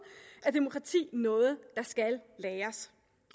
er demokrati noget der skal læres